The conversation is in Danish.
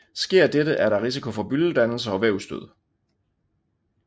Sker dette er der risiko for byldedannelser og vævsdød